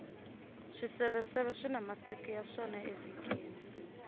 swiseveseve swina masiku ya swona evhikini